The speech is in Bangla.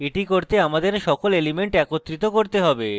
এটি করতে আমাদের সকল elements একত্রিত করতে হবে